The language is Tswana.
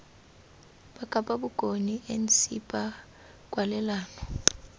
ba kapa bokone ncpa kwalelano